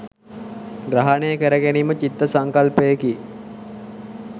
ග්‍රහනය කර ගැනීම චිත්ත සංකල්පයකි.